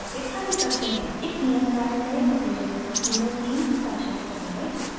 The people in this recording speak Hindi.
एक नियत कार्य मेंअपनी रेपॉसिटरी में तीन stashes बनाएं